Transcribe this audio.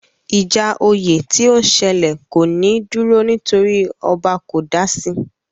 Ìjà oyè tí ó ń sẹlẹ̀ kò ní dúró nítorí ọba kò dasi